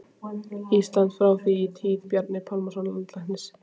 Íslandi, frá því í tíð Bjarna Pálssonar landlæknis.